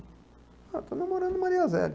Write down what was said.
Ah, eu estou namorando Maria zélia.